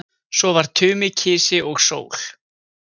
Svo var Tumi kisi og sól.